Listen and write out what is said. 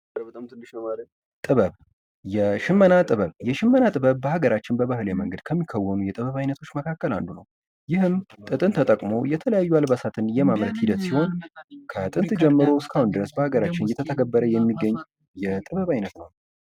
ባህላዊ በዓላትና ሥርዓቶች የጥበብና የባህል አገላለጽ መድረኮች በመሆን የማህበረሰብን ትስስር ያጠናክራሉ።